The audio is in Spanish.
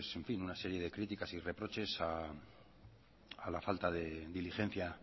una serie de críticas y reproches a la falta de diligencia